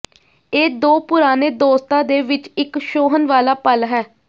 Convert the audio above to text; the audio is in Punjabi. ਇਹ ਦੋ ਪੁਰਾਣੇ ਦੋਸਤਾਂ ਦੇ ਵਿੱਚ ਇੱਕ ਛੋਹਣ ਵਾਲਾ ਪਲ ਹੈ